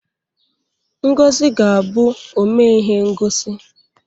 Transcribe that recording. Ngozi ga-abụ omee ihe ngosi.